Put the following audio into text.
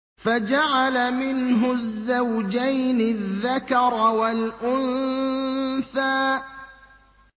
فَجَعَلَ مِنْهُ الزَّوْجَيْنِ الذَّكَرَ وَالْأُنثَىٰ